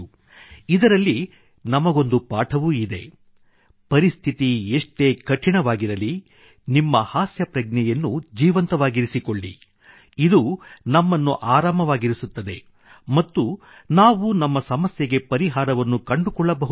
ಇದರಲ್ಲಿ ನಮಗೊಂದು ಪಾಠವೂ ಇದೆ ಪರಿಸ್ಥಿತಿ ಎಷ್ಟೇ ಕಠಿಣವಾಗಿರಲಿ ನಿಮ್ಮ ಹಾಸ್ಯ ಪ್ರಜ್ಞೆಯನ್ನು ಜೀವಂತವಾಗಿರಿಸಿಕೊಳ್ಳಿ ಇದು ನಮ್ಮನ್ನು ಆರಾಮವಾಗಿರಿಸುತ್ತದೆ ಮತ್ತು ನಾವು ನಮ್ಮ ಸಮಸ್ಯೆಗೆ ಪರಿಹಾರವನ್ನು ಕಂಡುಕೊಳ್ಳಬಹುದಾಗಿದೆ